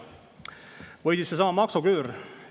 Või siis seesama maksuküür.